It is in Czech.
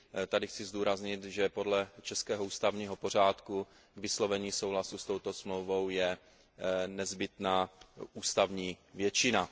Tady chci zdůraznit, že podle českého ústavního přádku je k vyslovení souhlasu s touto Smlouvou nezbytná ústavní většina.